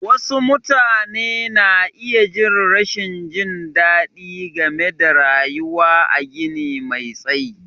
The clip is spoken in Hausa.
Wasu mutane na iya jin rashin jin daɗi game da rayuwa a gini me tsayi.